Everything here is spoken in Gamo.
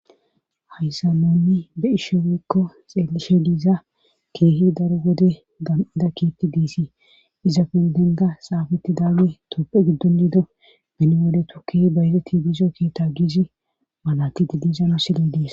Hayssa nonni be ishe weekko xeelishe diiza keehi daro gode gan7ida kiitti giisi iza pendenda xaafetti daawe topphe giddon diido miniwole toke bayze tibizo keeta giizi malati didizana sille dies.